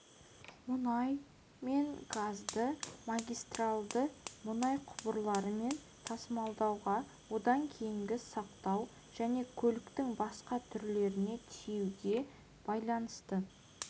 мұнай мен газды магистральды мұнай құбырларымен тасымалдауға одан кейінгі сақтау және көліктің басқа түрлеріне тиеуге байланысты